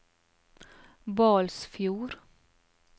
Balsfjord